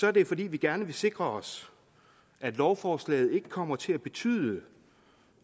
er det fordi vi gerne vil sikre os at lovforslaget ikke kommer til at betyde